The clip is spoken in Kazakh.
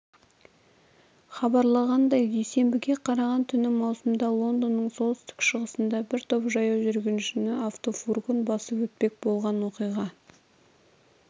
хабарлағандай дүйсенбіге қараған түні маусымда лондонның солтүстік-шығысында бір топ жаяу жүргіншіні автофургон басып өтпек болған оқиға